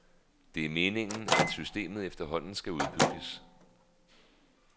Det er meningen, at systemet efterhånden skal udbygges.